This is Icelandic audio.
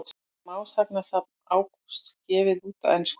Smásagnasafn Ágústs gefið út á ensku